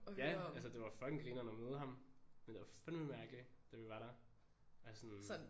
Ja altså det var fucking grineren at møde ham men det var fandeme mærkeligt da vi var der altså sådan